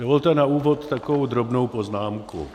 Dovolte na úvod takovou drobnou poznámku.